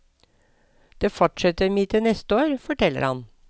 Det fortsetter vi med til neste år, forteller han.